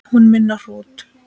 Hún minni á hrúta.